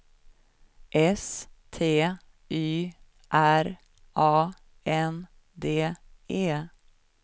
S T Y R A N D E